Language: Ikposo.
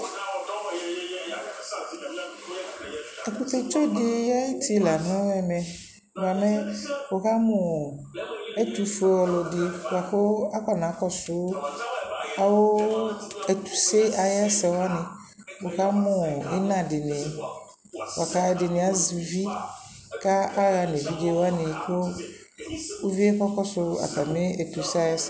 ɛkʋtɛ tsɔ di ayiti lanʋ ɛmɛ bʋamɛ wʋkamʋ ɛtʋƒʋɛ ɔlɔdi bʋakʋ akɔna kɔsʋ awʋ ɛtʋsɛ ayi ɛsɛ wani, wʋkamʋ ɛna dini, ɛdiniazɛ ʋvi kʋ aka hanʋ ɛvidzɛ wani kʋ ʋviɛ kakɔsʋ atami ɛtʋsɛ ayi ɛsɛ